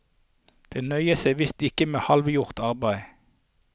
De nøyer seg så visst ikke med halvgjort arbeid.